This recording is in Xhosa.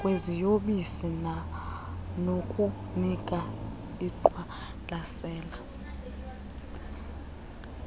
kwiziyobisi banokunika ingqwalasela